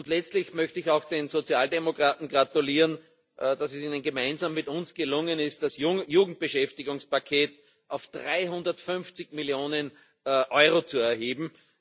Letztlich möchte ich auch den Sozialdemokraten gratulieren, dass es ihnen gemeinsam mit uns gelungen ist, das Jugendbeschäftigungspaket auf 350 Millionen Euro anzuheben.